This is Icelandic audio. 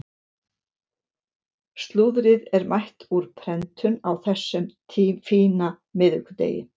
Slúðrið er mætt úr prentun á þessum fína miðvikudegi.